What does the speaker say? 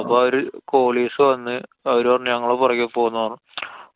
അപ്പൊ ആ ഒരു Qualis വന്നു. അവരു പറഞ്ഞു ഞങ്ങളെ പൊറകെ പോന്നോ.